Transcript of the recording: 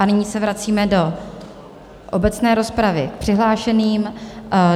A nyní se vracíme do obecné rozpravy k přihlášeným.